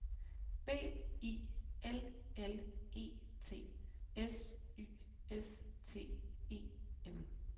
B I L L E T S Y S T E M